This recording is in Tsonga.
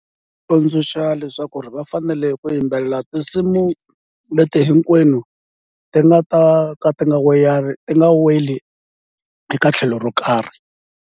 Tsundzuxa leswaku va fanele ku yimbelela tinsimu leti hinkwenu ti nga ta ka ti nga weyari ti nga weli eka tlhelo ro karhi.